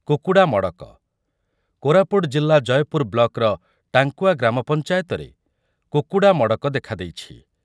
କୁକୁଡ଼ା ମଡ଼କ, କୋରାପୁଟ ଜିଲ୍ଲା ଜୟପୁର ବ୍ଲକର ଟାଙ୍କୁଆ ଗ୍ରାମପଞ୍ଚାୟତରେ କୁକୁଡ଼ା ମଡ଼କ ଦେଖାଦେଇଛି ।